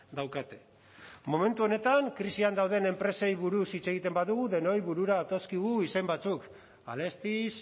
daukate momentu honetan krisian dauden enpresei buruz hitz egiten badugu denoi burura datozkigu izen batzuk alestis